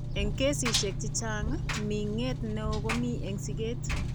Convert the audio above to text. Eng' kesishek chechang', ming'et neo ko mi eng' siket.